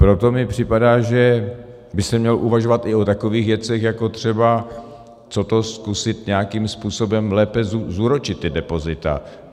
Proto mi připadá, že by se mělo uvažovat i o takových věcech, jako třeba co to zkusit nějakým způsobem lépe zúročit ta depozita.